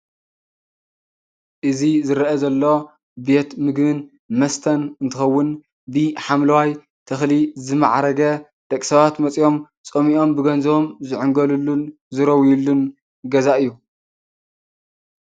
እዚ ዝርአ ዘሎ ቤት ምግብን መስተን እንትኸውን ብሓምለዋይ ተኽሊ ዝማዕረገ ደቂ ሰባት መፅዮም ፀሚኦም ብገንዘቦም ዝዕንገልሉን ዝረውይሉን ገዛ እዩ።